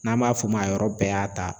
N'an b'a fɔ o ma yɔrɔ bɛɛ y'a ta.